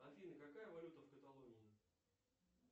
афина какая валюта в каталонии